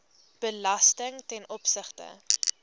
belasting ten opsigte